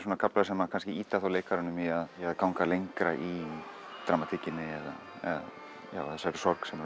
kaflar sem kannski ýta leikaranum í að ganga lengra í dramatíkinni eða þessari sorg sem